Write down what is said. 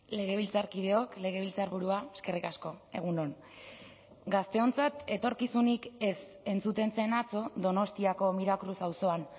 legebiltzarkideok legebiltzarburua eskerrik asko egun on gazteontzat etorkizunik ez entzuten zen atzo donostiako miracruz auzoan